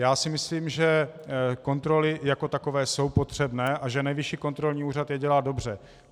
Já si myslím, že kontroly jako takové jsou potřebné a že Nejvyšší kontrolní úřad je dělá dobře.